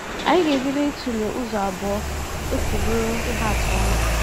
Anyị ga-ebido ịtụle ụzọ abụọ o si bụrụ ihe atụ ọma.